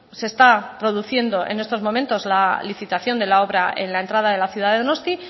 se está produciendo en estos momentos la licitación de la obra en la entrada de la ciudad de donosti